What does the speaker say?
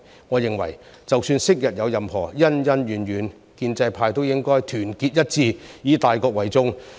我認為，即使昔日有任何恩恩怨怨，建制派亦應團結一致，以大局為重。